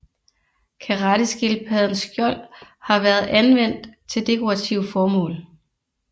Karetteskildpaddens skjold har været anvendt til dekorative formål